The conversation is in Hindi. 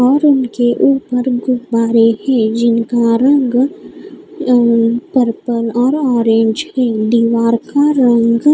और उनके ऊपर गुब्बारे हैं जिनका रंग पर्पल और ऑरेंज है दीवार का रंग--